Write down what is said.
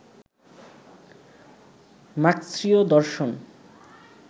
মার্ক্সীয় দর্শন